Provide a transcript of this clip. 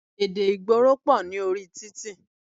Èdè ìgboro pọ̀ ní orí títì.